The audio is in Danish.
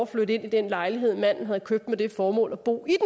flytte ind i den lejlighed manden havde købt med det formål at bo i